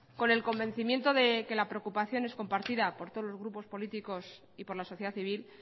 con el convencimiento de que la preocupación es compartida por todos los grupos políticos y por la sociedad civil